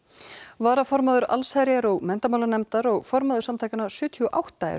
varaformaður allsherjar og menntamálanefndar og formaður samtakanna sjötíu og átta eru